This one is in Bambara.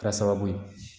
Kɛra sababu ye